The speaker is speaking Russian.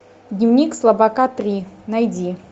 дневник слабака три найди